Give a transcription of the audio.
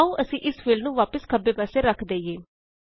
ਤਾਂ ਆਓ ਅਸੀਂ ਇਸ ਫੀਲਡ ਨੂੰ ਵਾਪਿਸ ਖੱਬੇ ਪਾਸੇ ਰਖ ਦਇਏ